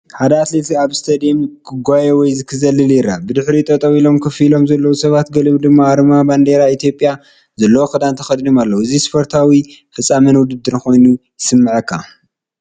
ሓደ ኣትሌት ኣብ ስታድዩም ክጎዪ ወይ ክዘልል ይረአ። ብድሕሪኡ ጠጠው ኢሎም ኮፍ ኢሎም ዘለዉ ሰባት፡ ገሊኦም ድማ ኣርማ ባንዴራ ኢትዮጵያ ዘለዎ ክዳውንቲ ተኸዲኖም ኣለዉ። እዚ ስፖርታዊ ፍጻመን ውድድርን ኮይኑ ይስምዓካ።